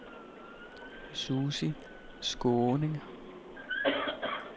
Susie Skaaning